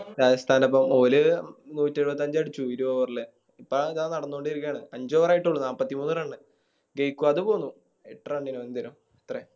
രാജസ്ഥാൻടോപ്പം ഓല് നൂറ്റിരുപത്തഞ്ച് അടിച്ചു ഒര് Over ല് ഇപ്പൊ ദാ നടന്നോണ്ടിരിക്കാന് അഞ്ച് Over ആയിട്ടൊള്ളു നാപ്പത്ത് മൂന്ന് Run ജയിക്കുവാന്ന് തോന്നുണു